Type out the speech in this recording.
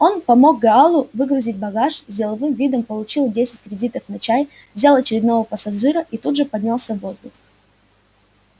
он помог гаалу выгрузить багаж с деловым видом получил десять кредиток на чай взял очередного пассажира и тут же поднялся в воздух